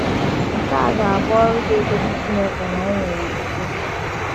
Nke a ga - abụ ọrụ ga - egosi Chineke na anyị nwere okwukwe.